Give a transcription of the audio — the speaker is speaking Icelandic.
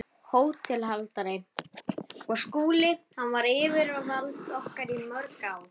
HÓTELHALDARI: Og Skúli- hann var yfirvald okkar í mörg ár.